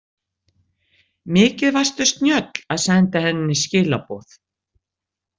Mikið varstu snjöll að senda henni skilaboð.